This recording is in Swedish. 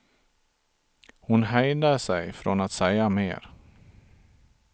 Hon hejdade sig från att säga mer.